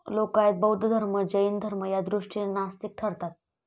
लोकायत, बौद्ध धर्म, जैन धर्म या दृष्टिने नास्तिक ठरतात.